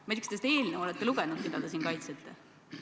Ma ei tea, kas te seda eelnõu olete lugenud, mida te siin kaitsete.